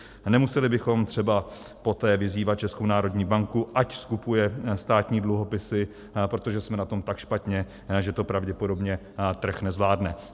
Nemuseli bychom třeba poté vyzývat Českou národní banku, ať skupuje státní dluhopisy, protože jsme na tom tak špatně, že to pravděpodobně trh nezvládne.